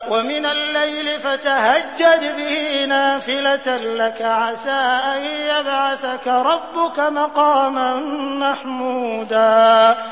وَمِنَ اللَّيْلِ فَتَهَجَّدْ بِهِ نَافِلَةً لَّكَ عَسَىٰ أَن يَبْعَثَكَ رَبُّكَ مَقَامًا مَّحْمُودًا